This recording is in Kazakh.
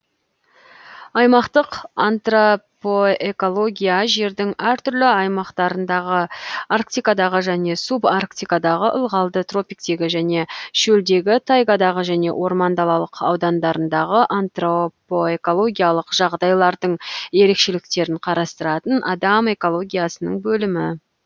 аймақтық антропоэкология жердің әр түрлі аймақтарындағы арктикадағы және субарктикадағы ылғалды тропиктегі және шөлдегі тайгадағы және орман далалық аудандардағы антропоэкологиялық жағдайлардың ерекшеліктерін қарастыратын адам экологиясының бөлімі